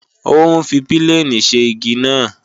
Ó ń fi pílènì ṣe igi náà